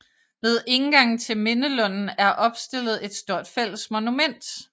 Ved indgangen til mindelunden er opstillet et stort fælles monument